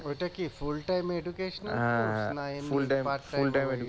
ওইটা কি না এমনি